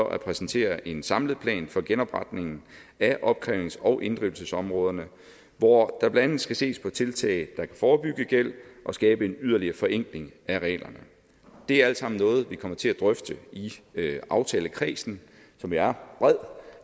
at præsentere en samlet plan for genopretningen af opkrævnings og inddrivelsesområderne hvor der blandt andet skal ses på tiltag der kan forebygge gæld og skabe en yderligere forenkling af reglerne det er alt sammen noget vi kommer til at drøfte i aftalekredsen som er bred for